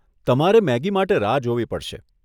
તમારે મેગી માટે રાહ જોવી પડશે.